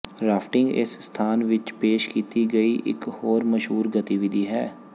rafting ਇਸ ਸਥਾਨ ਵਿੱਚ ਪੇਸ਼ ਕੀਤੀ ਗਈ ਇਕ ਹੋਰ ਮਸ਼ਹੂਰ ਗਤੀਵਿਧੀ ਹੈ